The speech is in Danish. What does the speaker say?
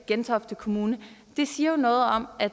gentofte kommune det siger jo noget om at